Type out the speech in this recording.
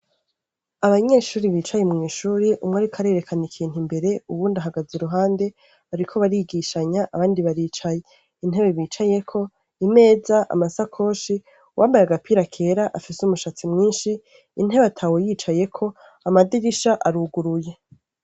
Abanyeshure bicaye mwishure umwe ariko arerekana ikintu imbere uwundi ahagaze iruhande bariko barigishanya abandi baricaye intebe bicayeko ,imeza ,amasakoshi, uwambaye agapira kera afise umushatsi mwinshi intebe atawucayeko amadirisha aruguruye.